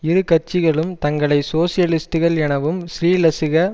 இரு கட்சிகளும் தங்களை சோசியலிஸ்டுகள் எனவும் ஸ்ரீலசுக